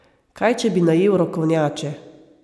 Kaj če bi najel rokovnjače?